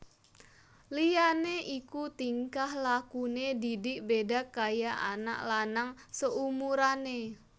Liyane iku tingkah lakune Didik beda kaya anak lanang saumurane